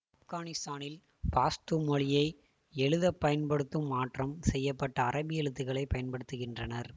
ஆப்கானிஸ்தானில் பாஷ்தூ மொழியை எழுத பயன்படுத்தும் மாற்றம் செய்ய பட்ட அரபி எழுத்துக்களை பயன்படுத்துகின்றனர்